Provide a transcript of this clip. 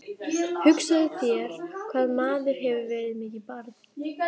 Hugsaðu þér hvað maður hefur verið mikið barn.